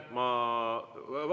Ma …